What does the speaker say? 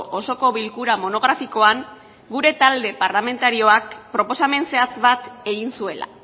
osoko bilkura monografikoan gure talde parlamentarioak proposamen zehatz bat egin zuela